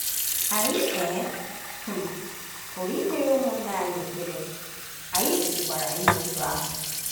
Anyị um um pụrụ ịkpere ụmụnna anyị ekpere, anyị kwesịkwara ime otú ahụ.